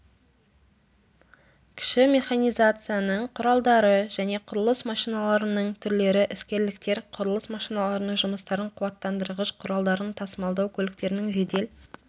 кіші механизацияның құралдары және құрылыс машиналарының түрлері іскерліктер құрылыс машиналарының жұмыстарын қуаттандырғыш құралдарын тасымалдау көліктерінің жедел